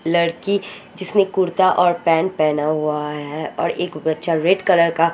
लडकी जिसने कुर्ता और पेंट पहना हुआ है और एक बच्चा रेड कलर का गेंजी--